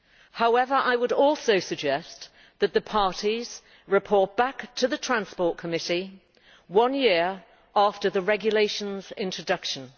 However, I would also suggest that the parties report back to the Committee on Transport one year after the regulation's introduction.